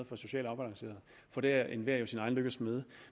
for socialt afbalanceret for der er enhver jo sin egen lykkes smed